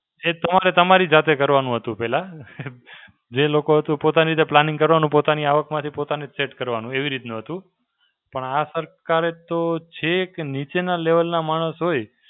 એ ત્રણ એ તમારી જાતે કરવાનું હતું પહેલા. જે લોકો તો પોતાની જે Planning કરવાનું પોતાની આવકમાંથી પોતાને set કરવાનું. એવી રીતના હતું. પણ આ સરકારે તો છેક નીચેના level ના માણસ હોય,